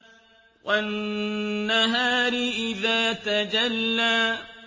وَالنَّهَارِ إِذَا تَجَلَّىٰ